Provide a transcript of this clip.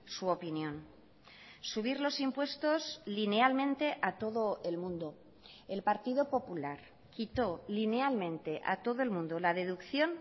su opinión subir los impuestos linealmente a todo el mundo el partido popular quitó linealmente a todo el mundo la deducción